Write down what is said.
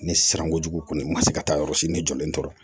Ne sirankojugu kɔni ma se ka taa yɔrɔ si ne jɔlen tora